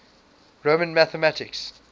roman mathematics